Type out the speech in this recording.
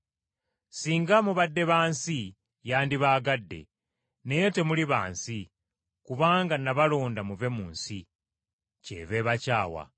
Singa mubadde ba nsi, yandibaagadde, naye temuli ba nsi, kubanga nabalonda muve mu nsi, kyeva ebakyawa.